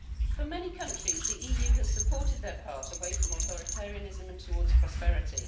For many countries, the EU has supported their path away from authoritarianism and towards prosperity.